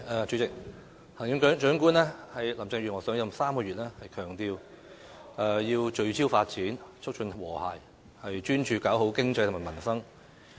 主席，行政長官林鄭月娥上任3個月，強調要聚焦發展，促進和諧，專注搞好經濟和民生。